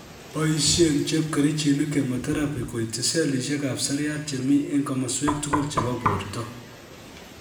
Boisien chepkerichinik chemotherapy koityi sellishek ab seriat chemi en komoswek tugul chebo borto